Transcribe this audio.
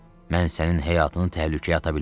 Mən sənin həyatını təhlükəyə ata bilmərəm.